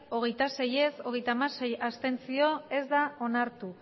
hogeita sei abstentzioak hogeita hamasei ez da onartu